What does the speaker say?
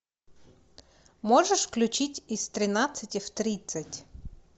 можешь включить из тринадцати в тридцать